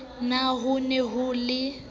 na ho ne ho le